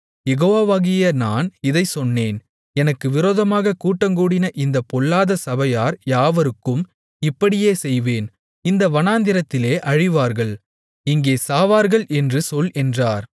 யெகோவாவாகிய நான் இதைச் சொன்னேன் எனக்கு விரோதமாகக் கூட்டங்கூடின இந்தப் பொல்லாத சபையார் யாவருக்கும் இப்படியே செய்வேன் இந்த வனாந்திரத்திலே அழிவார்கள் இங்கே சாவார்கள் என்று சொல் என்றார்